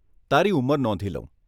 તારી ઉંમર નોંધી લઉં.